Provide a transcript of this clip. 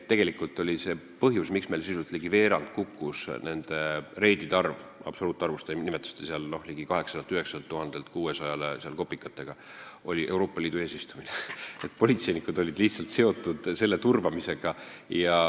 Tegelikult oli põhjus, miks reidide arv sisuliselt ligi veerandi võrra kukkus – te nimetasite, et ligi 900 000-lt 600 000-le kopikatega –, Euroopa Liidu eesistumine, politseinikud olid lihtsalt seotud selle turvamisega.